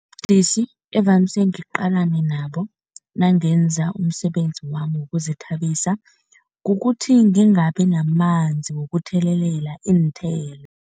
Ubudisi evamise ngiqalene nabo nangenza umsebenzi wami wokuzithabisa, kukuthi ngingabi namanzi wokuthelelela iinthelo.